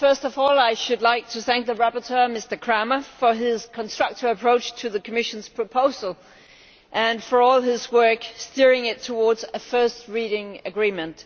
First of all, I should like to thank the rapporteur, Mr Krahmer, for his constructive approach to the Commission's proposal and for all his work steering it towards a first reading agreement.